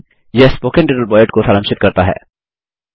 यह spoken tutorial project को सारांशित करता है